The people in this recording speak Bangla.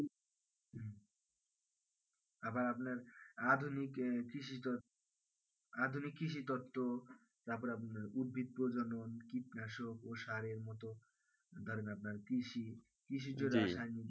আবার আপনার আধুনিকে কৃষি আধুনিক কৃষি দত্ত তারপর আপনার উদ্ভিত প্রজনন কীটনাশক ও সারের মতো ধরেন আপনার কৃষি কৃষির জন্য